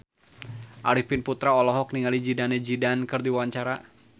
Arifin Putra olohok ningali Zidane Zidane keur diwawancara